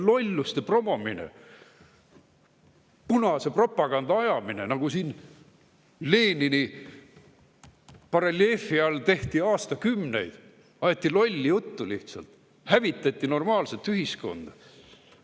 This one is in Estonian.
Lõpetage lolluste promomine, punase propaganda ajamine, nagu siin Lenini bareljeefi all tehti aastakümneid: aeti lolli juttu lihtsalt, hävitati normaalset ühiskonda.